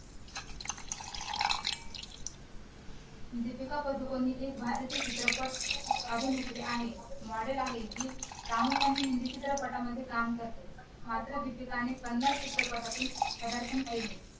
दीपिका पादुकोण हि भारतीय चित्रपट अभिनेत्री आहे model आहे जी प्रामुख्याने हिंदी चित्रपटांमध्ये काम करते मात्र दीपिका ने कन्नड चित्रपटातून प्रदारपण केले